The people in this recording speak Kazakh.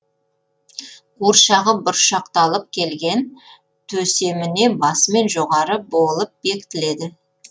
қуыршағы бұршақталып келген төсеміне басымен жоғары болып бекітіледі